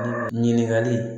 Ɲininkali